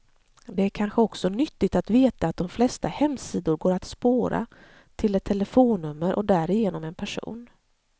Det är kanske också nyttigt att veta att de flesta hemsidor går att spåra, till ett telefonnummer och därigenom en person.